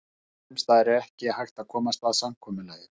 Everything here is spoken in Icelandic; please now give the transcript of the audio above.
Sums staðar var ekki hægt að komast að samkomulagi.